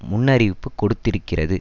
முன்னறிவிப்பு கொடுத்திருக்கிறது